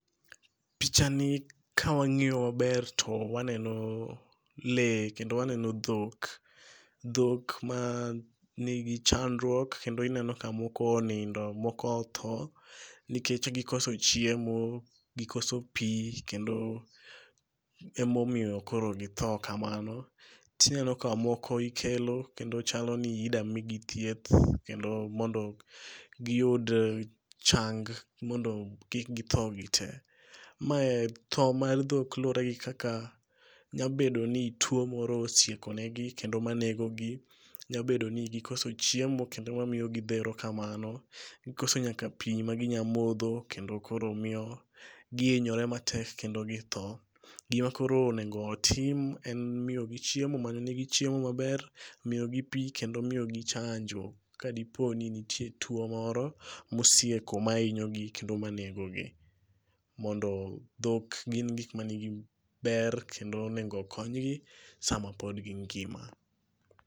Pichani ka wang'iyo maber to waneno le kendo waneno dhok. Dhok ma nigi chandruok kendo ineno ka moko onindo. Moko otho nikech gikoso chiemo, gikoso pi. Kendo emomiyo koro githo kamano. Tineno ka moko ikelo kendo chalo ni ida migi thieth kendo mondo giyud chang' mondo kik githo gite. Mae tho mar dhok luwore gi kaka nyabedo ni tuo moro osieko negi kendo manego gi. Nyabedo ni gikoso chiemo kendo mamiyo gidhero kamano. Gikoso nyaka pi ma gi nya modho kendo koro miyo gihinyore matek kendo githo. Gima koro onego otim en miyogi chiemo manyo negi chiemo maber. Miyogi pi kendo miyo gi chanjo kadipo ni nitie tuo moro mosieko mahinyo gi kendo manego gi. Mondo dhok gin gik manigi ber kendo onego kony gi sam pod gi ngima.